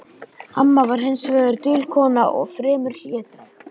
Amma var hins vegar dul kona og fremur hlédræg.